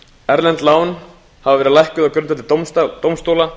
erlend lán höfðu verið lækkuð á grundvelli dómstóla